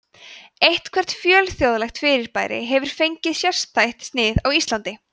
eitthvert fjölþjóðlegt fyrirbæri hefur fengið sérstætt snið á íslandi